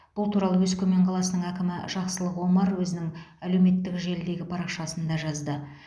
бұл туралы өскемен қаласының әкімі жақсылық омар өзінің әлеуметтік желідегі парақшасында жазды